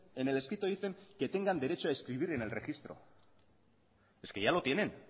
en el escrito dicen que tengan derecho a inscribir en el registro es que ya lo tienen